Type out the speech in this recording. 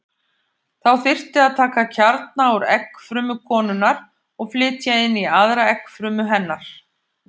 Þá þyrfti að taka kjarna úr eggfrumu konunnar og flytja inn í aðra eggfrumu hennar.